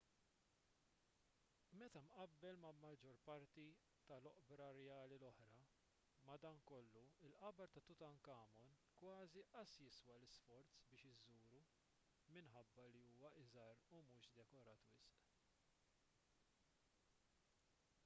meta mqabbel mal-maġġor parti tal-oqbra rjali l-oħra madankollu il-qabar ta' tutankhamun kważi qas jiswa l-isforz biex iżżuru minħabba li huwa ħafna iżgħar u mhux dekorat wisq